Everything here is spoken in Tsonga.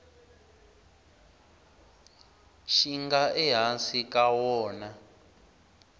xi nga ehansi ka wona